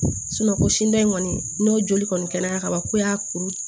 ko sini in kɔni n'o joli kɔni kɛra kaban ko y'a kuru